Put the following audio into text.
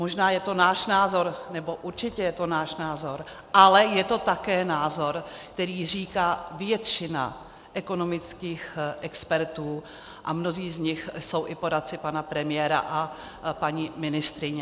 Možná je to náš názor, nebo určitě je to náš názor, ale je to také názor, který říká většina ekonomických expertů, a mnozí z nich jsou i poradci pana premiéra a paní ministryně.